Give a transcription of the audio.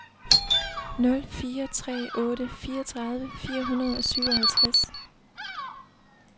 nul fire tre otte fireogtredive fire hundrede og syvoghalvtreds